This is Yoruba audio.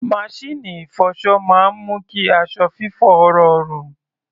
Maṣíìnì ìfọṣọ máa ń mú kí aṣọ fífọ̀ rọrùn.